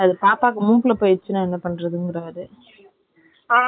என்னனு தெரியுமா நூத்தி இருபத்தி அஞ்சுரூபாய் தான்பரவா இல்லைக்குறேன் நான்னு.